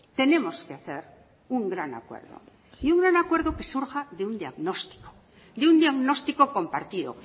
tenemos que hacer un gran acuerdo y un gran acuerdo que surja de un diagnóstico de un diagnóstico compartido